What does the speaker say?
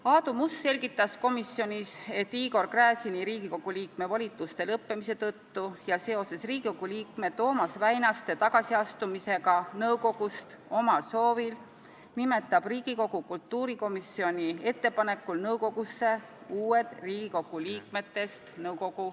Aadu Must selgitas komisjonis, et Igor Gräzini Riigikogu liikme volituste lõppemise tõttu ja seoses Riigikogu liikme Toomas Väinaste tagasiastumisega nõukogust omal soovil nimetab Riigikogu kultuurikomisjoni ettepanekul nõukogusse uued liikmed.